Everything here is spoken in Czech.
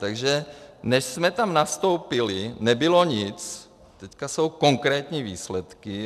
Takže než jsme tam nastoupili, nebylo nic, teď jsou konkrétní výsledky.